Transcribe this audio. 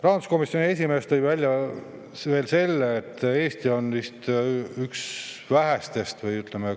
Rahanduskomisjoni esimees tõi välja veel selle, et Eesti on üks vähestest, kellel ei ole automaksu.